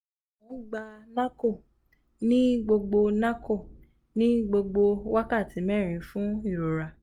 mo n gba norco ni gbogbo norco ni gbogbo wakati mẹrin fun irora